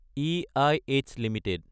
এইঃ Ltd